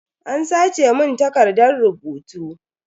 An sace mun takardan rubutu.